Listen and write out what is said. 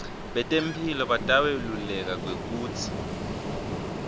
tetemphilo bataweluleka kwekutsi